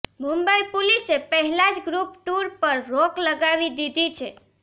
મુંબઈ પોલીસે પહેલા જ ગ્રૂપ ટુર પર રોક લગાવી દીધી છે